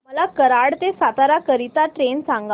मला कराड ते सातारा करीता ट्रेन सांगा